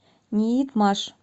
ниитмаш